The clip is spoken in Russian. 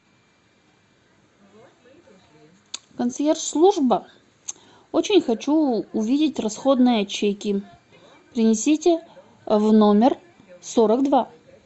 консьерж служба очень хочу увидеть расходные чеки принесите в номер сорок два